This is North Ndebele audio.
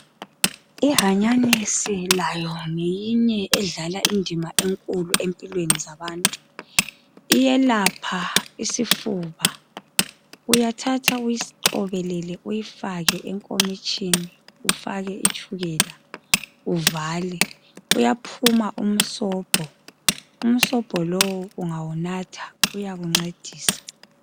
Ihanyanyisi layo ngeyinye edlala indima enkulu empilweni zabantu iyelapha isifuba uyathatha uyiqobelele uyifaka enkomitshini ufake itshukela uvale kuyaphuma umsombo, umsombo lowo ungawunatha uyakuncedisa.